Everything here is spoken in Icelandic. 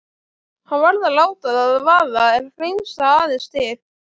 Hann varð að láta það vaða, hreinsa aðeins til.